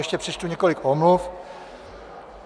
Ještě přečtu několik omluv.